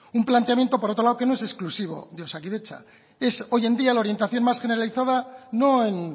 un planteamiento por otro lado que no es exclusivo de osakidetza es hoy en día la orientación más generalizada no en